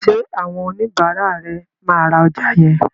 Ṣé àwọn oníbàárà ẹ máa ra ọjà yẹn?